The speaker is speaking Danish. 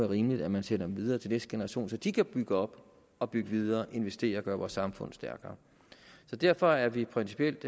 rimeligt at man sender dem videre til næste generation så de kan bygge op og bygge videre investere og gøre vores samfund stærkere derfor er vi principielt